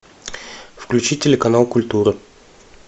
включи телеканал культура